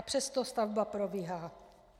A přesto stavba probíhá.